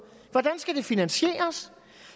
hvordan skal det finansieres